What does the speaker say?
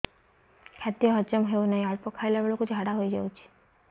ଖାଦ୍ୟ ହଜମ ହେଉ ନାହିଁ ଅଳ୍ପ ଖାଇଲା ବେଳକୁ ଝାଡ଼ା ହୋଇଯାଉଛି